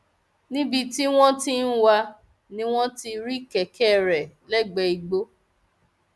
níbi tí wọn ti ń wá a ni wọn ti rí kẹkẹ rẹ lẹgbẹẹ igbó